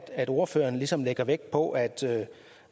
at ordføreren ligesom lægger vægt på at